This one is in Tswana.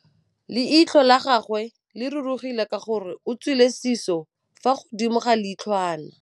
Leitlhô la gagwe le rurugile ka gore o tswile sisô fa godimo ga leitlhwana.